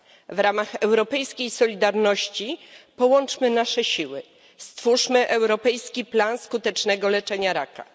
W ramach europejskiej solidarności połączmy nasze siły, stwórzmy europejski plan skutecznego leczenia raka.